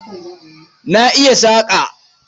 Na iya saƙa.